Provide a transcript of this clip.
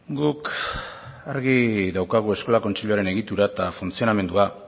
guk argi daukagu eskola kontseiluaren egitura eta funtzionamendua